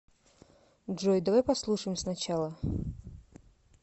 джой давай послушаем сначала